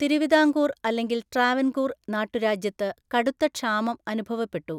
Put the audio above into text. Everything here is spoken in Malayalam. തിരുവിതാംകൂർ അല്ലെങ്കിൽ ട്രാവൻകൂർ നാട്ടുരാജ്യത്ത് കടുത്ത ക്ഷാമം അനുഭവപ്പെട്ടു.